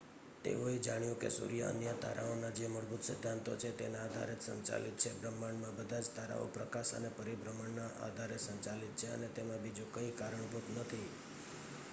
તેઓ એ જાણ્યું કે સૂર્ય અન્ય તારાઓના જે મૂળભૂત સિદ્ધાંતો છે તેના આધારે જ સંચાલિત છે બ્રહ્માંડમાં બધા જ તારાઓ પ્રકાશ અને પરિભ્રમણના આધારે સંચાલિત છે અને તેમાં બીજું કઈ કારણભૂત નથી